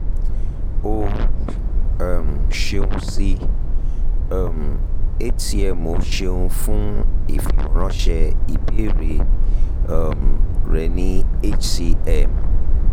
o um ṣeun si um hcmo ṣeun fun ifiweranṣẹ ibeere um rẹ ni hcm